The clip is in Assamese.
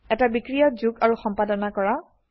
এটা বিক্ৰিয়া যোগ আৰু সম্পাদন কৰা